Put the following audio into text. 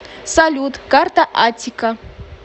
салют карта аттика